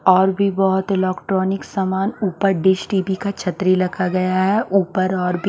और भी बहोत इलौक्ट्रॉनिक समान ऊपर डिस टी_वी का छतरी लखा गया है ऊपर और भी--